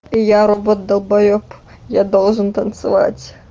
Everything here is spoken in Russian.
я робот далбаёб я должен танцевать